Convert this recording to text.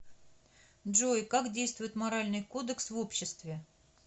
джой как действует моральный кодекс в обществе